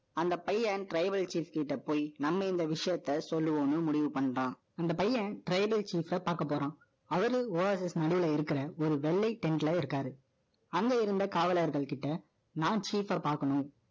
அந்த பையன், tribal chief கிட்ட போய், நம்ம இந்த விஷயத்த, சொல்லுவோம்ன்னு, முடிவு பண்ணிட்டான். அந்த பையன், tribal chief அ பார்க்கப் போறான். அவரு, Oasis நடுவுல இருக்கிற, ஒரு வெள்ளை tent ல இருக்காரு. அங்க இருந்த, காவலர்கள்கிட்ட, நான், cheap அ பாக்கணும்